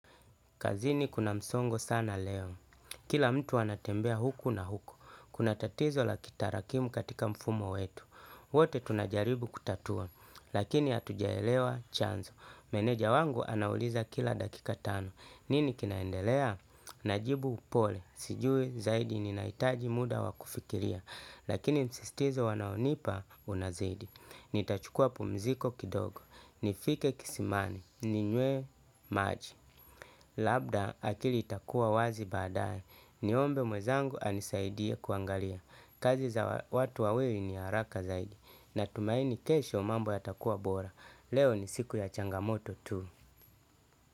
Kazini kuna msongo sana leo. Kila mtu anatembea huku na huku. Kuna tatizo la kitarakimu katika mfumo wetu. Wote tunajaribu kutatua. Lakini hatujaelewa chanzo. Meneja wangu anauliza kila dakika tano. Nini kinaendelea? Najibu pole. Sijui zaidi ninahitaji muda wa kufikiria. Lakini msisitizo wanaonipa unazidi. Nitachukua pumziko kidogo, nifike kisimani ninywe maji. Labda akili itakua wazi baadaye, niombe mwenzangu anisaidie kuangalia kazi za watu wawili ni haraka zaidi. Natumaini kesho mambo yatakua bora, leo ni siku ya changamoto tu.